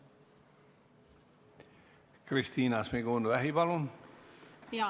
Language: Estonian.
Kristina Šmigun-Vähi, palun!